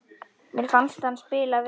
Mér fannst hann spila vel.